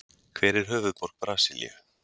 Hver er höfuðborg Brasilíu?